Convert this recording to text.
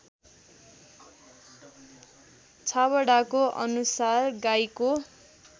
छाबडाको अनुसार गाईको